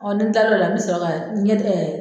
nin tilara o la n mi sɔrɔ ka ɲɛ